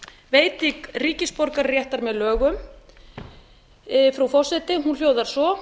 veiting ríkisborgararéttar með lögum frú forseti hún hljóðar svo